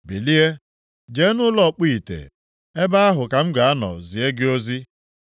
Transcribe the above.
“Bilie, jee nʼụlọ ọkpụ ite, ebe ahụ ka m ga-anọ zie gị ozi.”